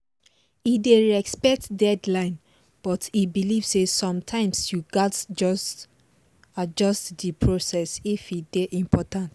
e dey respect deadline but e believe say sometimes you gats adjust the process if e dey important